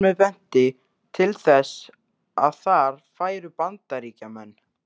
Nafnið benti til þess, að þar færu Bandaríkjamenn.